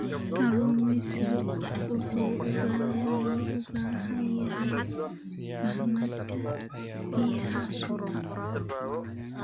Kalluumeysigu wuxuu u baahan yahay fahamka baahida suuqa.